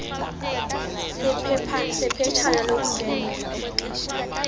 sephetshana lokundwendwela okwexeshana